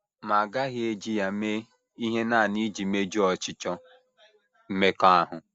Ma a gaghị eji ha mee ihe nanị iji mejuo ọchịchọ mmekọahụ.